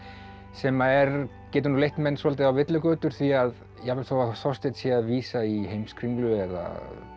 sem getur nú leitt menn svolítið á villigötur því að jafnvel þó að Þorsteinn sé að vísa í Heimskringlu eða